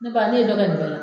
Ne ba, ne ye dɔ kɛ nin bɛ la.